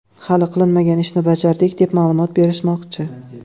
Hali qilinmagan ishni bajardik, deb ma’lumot berishmoqchi.